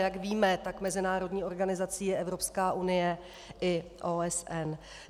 Jak víme, tak mezinárodní organizací je Evropská unie i OSN.